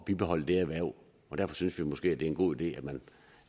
bibeholde det erhverv derfor synes vi måske at det er en god idé at